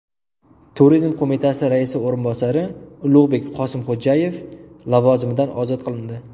Turizm qo‘mitasi raisi o‘rinbosari Ulug‘bek Qosimxo‘jayev lavozimidan ozod qilindi.